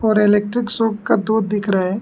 और electric shop का door दिख रहा है।